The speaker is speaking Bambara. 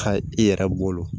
Ka i yɛrɛ bolo